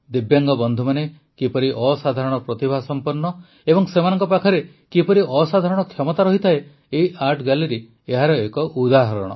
ଦିବ୍ୟାଙ୍ଗ ବନ୍ଧୁମାନେ କିପରି ଅସାଧାରଣ ପ୍ରତିଭାସଂପନ୍ନ ଏବଂ ସେମାନଙ୍କ ପାଖରେ କିପରି ଅସାଧାରଣ କ୍ଷମତା ରହିଥାଏ ଏହି ଆର୍ଟ ଗ୍ୟାଲେରୀ ଏହାର ଏକ ଉଦାହରଣ